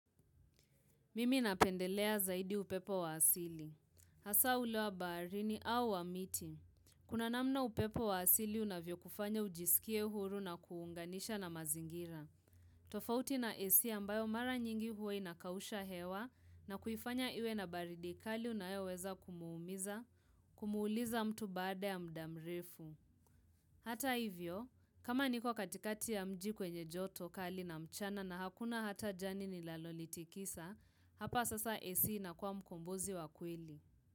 Mimi napendelea zaidi upepo wa asili. Hasa ule wa baharini au wa miti. Kuna namna upepo wa asili unavyokufanya ujisikie huru na kuunganisha na mazingira. Tofauti na esia ambayo mara nyingi huwa inakausha hewa na kuifanya iwe na baridi kali unayoweza kumuumiza kumuuliza mtu baada ya muda mrefu. Hata hivyo, kama niko katikati ya mji kwenye joto kali na mchana na hakuna hata jani linalonitikisa, hapa sasa esi inakuwa mkombozi wa kweli.